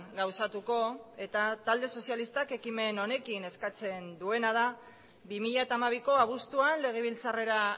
gauzatuko eta talde sozialistak ekimen honekin eskatzen duena da bi mila hamabiko abuztuan legebiltzarrera